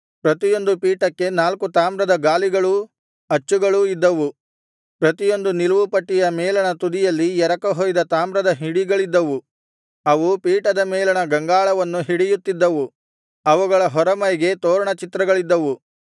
ಪ್ರತಿಯೊಂದು ಪೀಠಕ್ಕೆ ನಾಲ್ಕು ತಾಮ್ರದ ಗಾಲಿಗಳೂ ಅಚ್ಚುಗಳೂ ಇದ್ದವು ಪ್ರತಿಯೊಂದು ನಿಲುವುಪಟ್ಟಿಯ ಮೇಲಣ ತುದಿಯಲ್ಲಿ ಎರಕ ಹೊಯ್ದ ತಾಮ್ರದ ಹಿಡಿಗಳಿದ್ದವು ಅವು ಪೀಠದ ಮೇಲಣ ಗಂಗಾಳವನ್ನು ಹಿಡಿಯುತ್ತಿದ್ದವು ಅವುಗಳ ಹೊರಮೈಗೆ ತೋರಣ ಚಿತ್ರಗಳಿದ್ದವು